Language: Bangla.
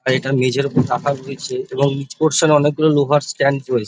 আর এটা মেঝের উপর রাখা রয়েছে এবং নীচ পর্সান -এ অনেক গুলো লোহার স্ট্যান্ড রয়েছে --